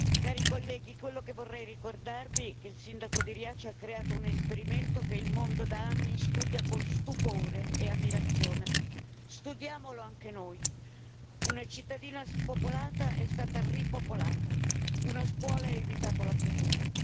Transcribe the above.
Cari colleghi, quello che vorrei ricordarvi è che il sindaco di Riace ha creato un esperimento che il mondo da anni studia con stupore e ammirazione, studiamolo anche noi una cittadina spopolata è stata ripopolata, una scuola ha evitato la chiusura.